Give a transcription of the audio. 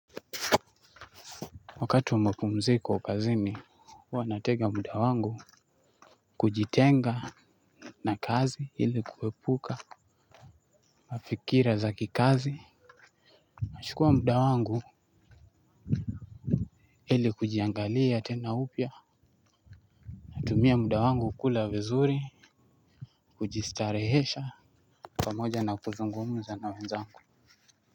Wakati wa mapumziko kazini huwa natega muda wangu kujitenga na kazi ili kuwepuka mafikira za kikazi nashukua muda wangu ili kujiangalia tena upya natumia mda wangu kula vizuri kujistarehesha pamoja na kuzungumuza na wenzangu.